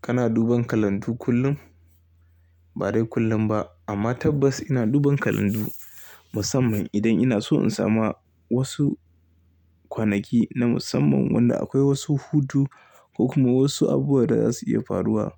Kana duban kalandu kullum? Ba dai kullum ba amma tabbas ina duban kalandu musamman idan ina so in samu wasu kwanaki na musamman wanda akwai wasu hutu ko kuma wasu abubuwa da za su iya faruwa.